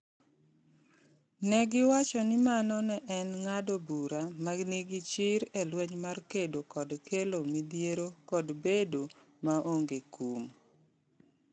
Ne giwacho ni mano ne en ng’ado bura ma nigi chir e lweny mar kedo kod kelo midhiero kod bedo maonge kum.